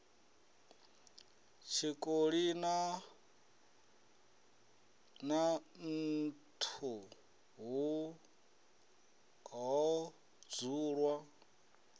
tshikoli na nḓuhu ho dzulwa